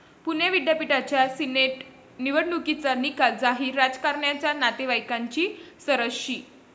पुणे विद्यापीठाच्या सिनेट निवडणुकीचा निकाल जाहीर, राजकारण्यांच्या नातेवाईंकांची सरशी